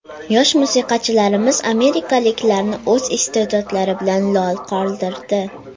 Yosh musiqachilarimiz amerikaliklarni o‘z iste’dodlari bilan lol qoldirdi.